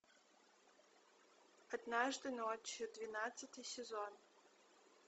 однажды ночью двенадцатый сезон